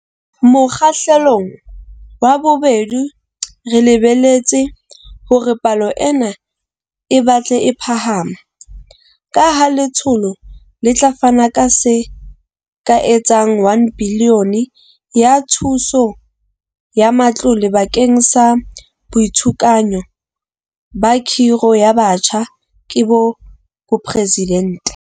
Mokgahlelong wa bobedi re lebeletse hore palo ena e batle e phahama, kaha letsholo le tla fana ka se ka etsang R1 bilione ya thuso ya matlole bakeng sa Boitshunyako ba Khiro ya Batjha ke Boporesidente.